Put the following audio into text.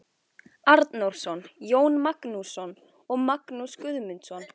Arnórsson, Jón Magnússon og Magnús Guðmundsson.